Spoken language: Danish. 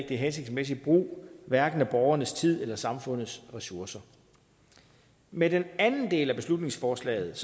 det er hensigtsmæssig brug hverken af borgernes tid eller samfundets ressourcer med den anden del af beslutningsforslaget